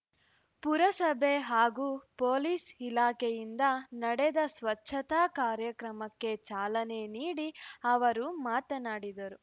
ಪುರಸಭೆ ಹಾಗೂ ಪೊಲೀಸ್‌ ಇಲಾಖೆಯಿಂದ ನಡೆದ ಸ್ವಚ್ಛತಾ ಕಾರ್ಯಕ್ರಮಕ್ಕೆ ಚಾಲನೆ ನೀಡಿ ಅವರು ಮಾತನಾಡಿದರು